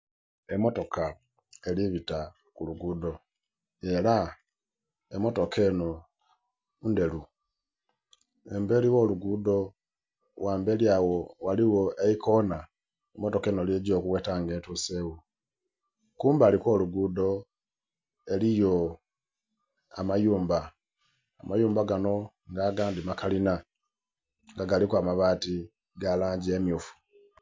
Emotoka eribita ku lugudho era emotoka enho nndheru, emberi gho lugudho ghamberi agho ghaligho eikonha motoka enho lyegya okugheta nga etusegho. Kumbali kwo lugudho eriyo amayumba, amayumba ganho nga aga dhi makalinha nga galiku amabati ga langi emyufu.